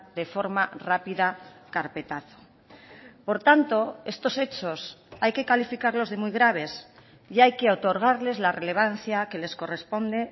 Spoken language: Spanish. de forma rápida carpetazo por tanto estos hechos hay que calificarlos de muy graves y hay que otorgarles la relevancia que les corresponde